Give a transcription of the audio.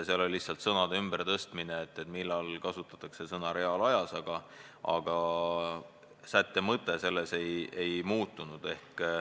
Seal oli lihtsalt sõnade ümbertõstmine, st millal kasutada sõna "reaalajas", sätte mõte sellest ei muutunud.